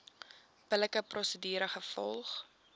billike prosedure gevolg